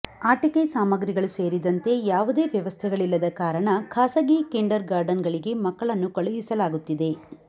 ಆಟಿಕೆ ಸಾಮಗ್ರಿಗಳು ಸೇರಿದಂತೆ ಯಾವುದೇ ವ್ಯವಸ್ಥೆಗಳಿಲ್ಲದ ಕಾರಣ ಖಾಸಗಿ ಕಿಂಡರ್ ಗಾರ್ಟನ್ಗಳಿಗೆ ಮಕ್ಕಳನ್ನು ಕಳುಹಿಸಲಾಗುತ್ತಿದೆ